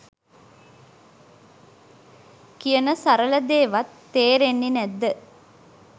කියන සරල දේ වත් තේරෙන්නෙ නැද්ද